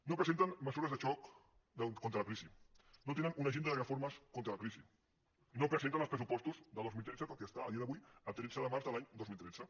no presenten mesures de xoc contra la crisi no tenen una agenda de reformes contra la crisi no presenten els pressupostos del dos mil tretze tot i estar a dia d’avui a tretze de març de l’any dos mil tretze